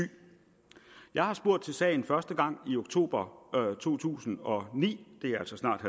jeg har spurgt til sagen første gang i oktober to tusind og ni det er altså snart